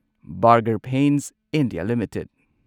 burger paints India limited